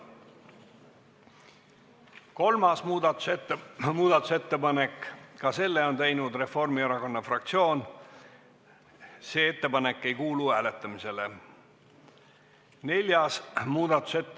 Kolmas muudatusettepanek, ka selle on teinud Reformierakonna fraktsioon, see ettepanek ei kuulu hääletamisele.